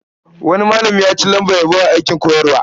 Wani malami ya ci lambar yabo a aikin koyarwa.